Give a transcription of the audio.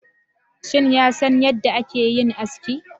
Shin ya san yadda ake yin aski